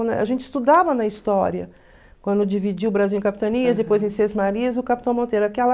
A gente estudava na história, quando dividiu o Brasil em capitanias, depois em sesmarias, o capitão Monteiro.